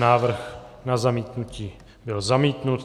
Návrh na zamítnutí byl zamítnut.